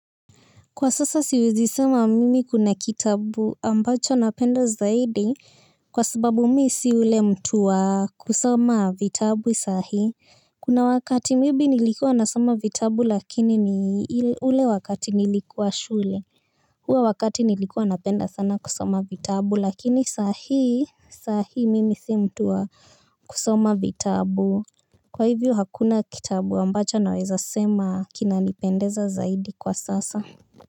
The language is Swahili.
Kwa sasa siwezi sema mimi kuna kitabu ambacho napenda zaidi kwa sababu mi si ule mtu wa kusoma vitabu sahii. Kuna wakati maybe nilikuwa nasoma vitabu lakini ni ule wakati nilikuwa shule. Huo wakati nilikuwa napenda sana kusoma vitabu lakini saa hii, saa hii mimi si mtu wa kusoma vitabu. Kwa hivyo hakuna kitabu ambacho naweza sema kinanipendeza zaidi kwa sasa.